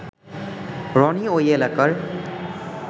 রনি ওই এলাকার